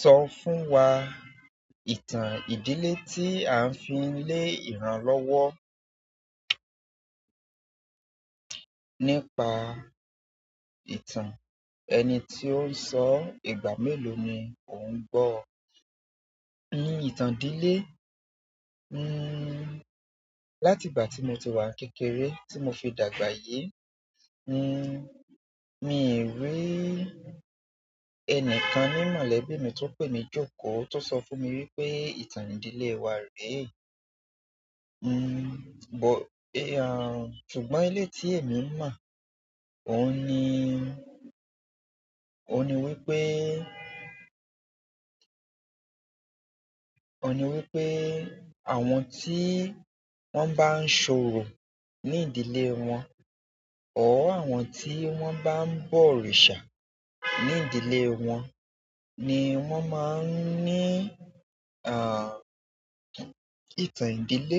Sọ fún wa ìtàn ìdílé tí à ń fi lé ìran lọ́wọ́. Nípa ìtàn ẹni tí ó ń sọ, ìgbà mélòó ni ò ń gbọ́? Ìtàn ìdílé, hmmm láti ìgbà ti mo tí wá ń kékeré ri mó f dàgbà yìí hmmm, mii ri ẹnìkan ni mọ̀lẹ́bí ti pe mí joko to sọ fún mí pé ìtàn ìdílé wá rè. Hmmm, bọ ẹ hmm. Ṣùgbọ́n ilé tí èmi mọ̀, óun ní, ó ní wípé, ó ní wípé àwọn tí wón bá ń ṣòrò ní ìdílé wọn or àwọn tí wón bá ń bọ òrìṣà ní ìdílé wọn ni wón máa ń ní, à, ìtàn ìdílé.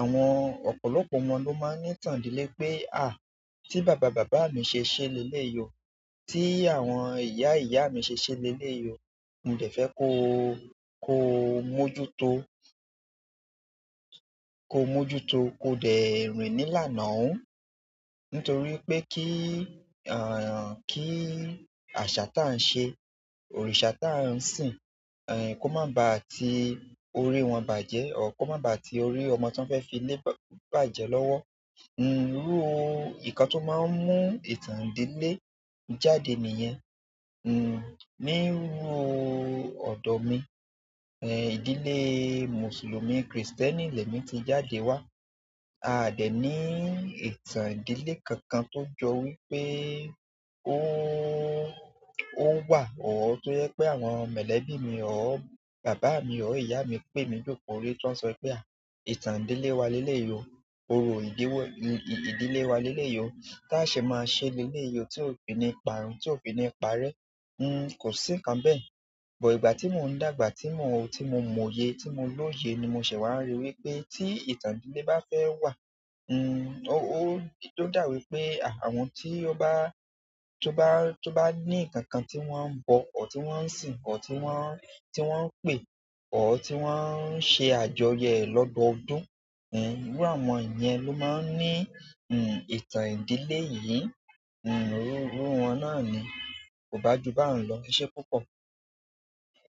Àwọn ọ̀pọ̀lọpọ̀ ọmọ ló máa ń ní ìtàn ìdílé pé à, tí bàba-bàbá mi ṣe ṣe lé lélèyi o, tí àwọn ìyá-ìyá mi ṣe ṣe lé lélèyi o, mo dẹ̀ fẹ́ ko, ko mójú to, ko mójú to, ko dẹ̀ rin ní là ń ná ọuń. Nítorí pé kí àṣà tán ṣe, òrìṣà tán sìn ko má bà ti orí wọn bàjẹ́ or ko má orí ọmọ tọn fẹ filè bàjẹ́ lọwọ hmm. Irú ìkán tó máa ń mú ìtàn ìdílé jáde ni yẹn, hmm, nírú ọ̀dọ̀ mi, eh, ìdílé Mùsùlùmí, Krìstẹ́nì lẹ́mi ti jáde wá. A dẹ̀ ní ìtàn ìdílé kankan tó jọ wípé ó ń wà ọ́ tó jẹ pé àwọn mọ̀lẹ́bí mi ọ́ bàbá mi ọ́ ìyá mi pè mí jókòó rí tó ń sọ wípé à, ìtàn ìdílé wa lé lélèyi o, orò ìdílé ìdílé wa lé lélèyi o, tá a ṣe máa ṣe lé lélèyi o tí òfi ni ìparun, tí òfin ni parẹ́. Hmm, kò sí nǹkan bẹ́ẹ̀. Ṣùgbọ́n ìgbà tí mò ń dàgbà, tí mo, tí mo mọye, tí mo lóye ni mo ṣẹ̀ wá rí wípé tí ìtàn ìdílé bá fẹ́ wà, hmm, ó dà wípé àwọn tí ó bá, tí ó bá ní nǹkan kan tí wón ń bọ̀ ọ́, tí wón ń sìn ọ́, tí wón ń, tí wón ń pè ọ́, tí wón ń ṣe àjọyọ̀ ẹ̀ lọ́dọọdún, hmm, irú àwọn èèyàn ló máa ń ní, hmm, ìtàn ìdílé yìí. Hmm, irú wọn náà ni. Kò bá ju báyìí lọ. Eṣe púpọ̀.